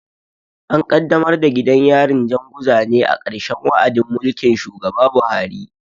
An kaddamar da gidan yarin Janguza ne a ƙarshen wa'adin mulkin shugaba Buhari.